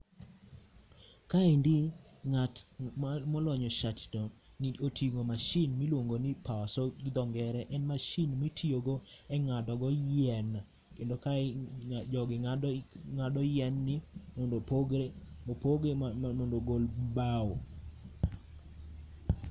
Kaendi ng'at molonyo shati no otingo mashin miluongo ni powersaw gi dho ngere. En mashin mitiyo go e ngado go yien kendo kae jogi ngado yien ni mondo opoge mondo ogol bao